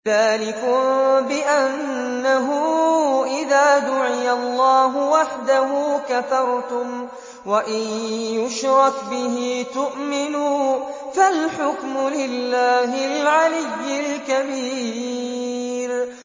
ذَٰلِكُم بِأَنَّهُ إِذَا دُعِيَ اللَّهُ وَحْدَهُ كَفَرْتُمْ ۖ وَإِن يُشْرَكْ بِهِ تُؤْمِنُوا ۚ فَالْحُكْمُ لِلَّهِ الْعَلِيِّ الْكَبِيرِ